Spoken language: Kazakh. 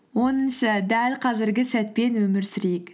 оныншы дәл қазіргі сәтпен өмір сүрейік